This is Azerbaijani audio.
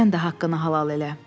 Sən də haqqını halal elə.